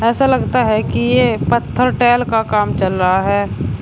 ऐसा लगता है कि ये पत्थर टाइल का काम चल रहा है।